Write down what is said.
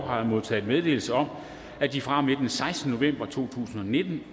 har jeg modtaget meddelelse om at de fra og med den sekstende november to tusind og nitten